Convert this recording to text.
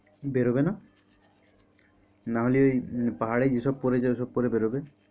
বেরোবে না নাহলে পাহাড়ে যেসব পরে যায় ওইসব পরে বেরোবে।